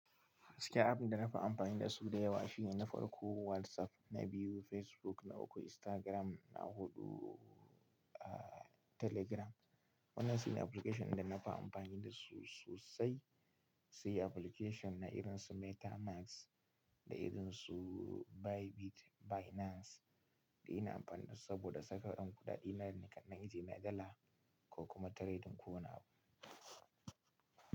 Cikin abinda na fi amfani da su da yawa shine na farko WhatsApp, na biyu Facebook, na uku Instagram, na huɗu a Telegram. Wannan shine application da na fi amfani da su sosai, sai application na irin su Meta Max, da irin su Bybit, Binance, da ina amfani da su saboda saka kuɗin na kalar itace, na dala ko kuma trading ko wani abu.